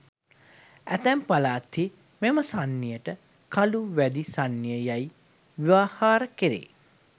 ඇතැම් පළාත්හි මෙම සන්නියට කළු වැදි සන්නිය යැයි ව්‍යවහාර කැරේ.